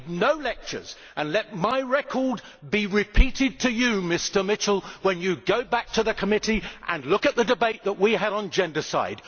I need no lectures, and let my record be repeated to you, Mr Mitchell, when you go back to the committee and look at the debate that we had on gendercide.